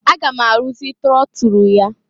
Aga m arụzị trọtụrụ ya.